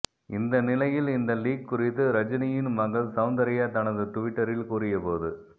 இந்த நிலையில் இந்த லீக் குறித்து ரஜினியின் மகள் சவுந்தர்யா தனது டுவிட்டரில் கூறியபோது